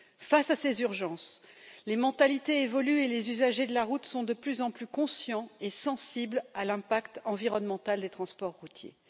Face à ces urgences, les mentalités évoluent et les usagers de la route sont de plus en plus conscients et sensibles à l'impact environnemental des transports routiers.